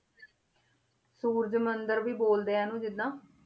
ਸੂਰਜ ਮੰਦਿਰ ਵੀ ਬੋਲਦੇ ਆ ਇਹਨੂੰ ਜਿੱਦਾਂ